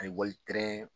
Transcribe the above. A ye wali